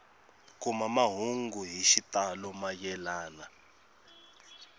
kuma mahungu hi xitalo mayelana